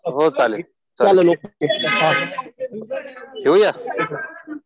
चालेल ओके. ठेऊया.